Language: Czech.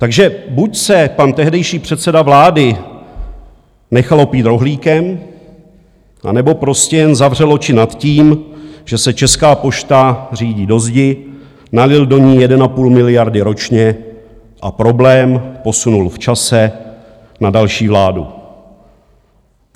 Takže buď se pan tehdejší předseda vlády nechal opít rohlíkem, anebo prostě jen zavřel oči nad tím, že se Česká pošta řítí do zdi, nalil do ní 1,5 miliardy ročně a problém posunul v čase na další vládu.